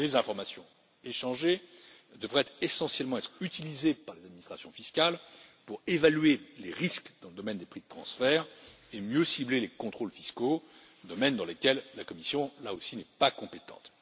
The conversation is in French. Les informations échangées devraient essentiellement être utilisées par les administrations fiscales pour évaluer les risques dans le domaine des prix de transfert et mieux cibler les contrôles fiscaux, domaines dans lesquels la Commission, là aussi, n'est pas compétente.